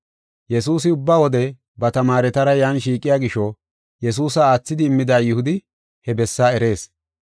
Yesuusi ubba wode ba tamaaretara yan shiiqiya gisho Yesuusa aathidi immida Yihudi he bessaa erees.